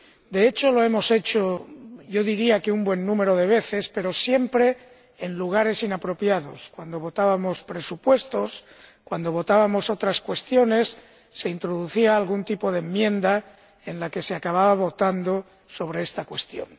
De hecho lo hemos hecho, yo diría, un buen número de veces, pero siempre en momentos inapropiados cuando votábamos presupuestos o cuando votábamos otras cuestiones se introducía algún tipo de enmienda en la que se acababa votando sobre esta cuestión.